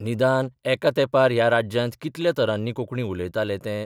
निदान एका तेंपार ह्या राज्यांत कितल्या तरांनी कोंकणी उलयताले तें